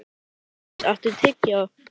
Reyndís, áttu tyggjó?